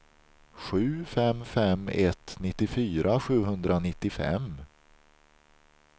sju fem fem ett nittiofyra sjuhundranittiofem